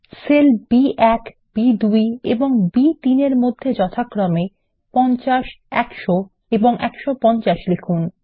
sell B one B two এবং বি3 -এর মধ্যে যথাক্রমে 50 100 এবং 150 লিখুন